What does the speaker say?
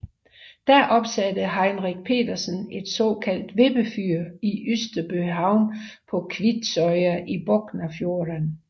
Da opsatte Henrich Petersen et såkaldt vippefyr i Ydstebøhavn på Kvitsøy i Boknafjorden